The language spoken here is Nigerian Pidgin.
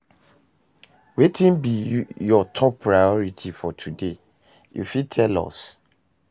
wetin be you top priority for today, you fit tell us?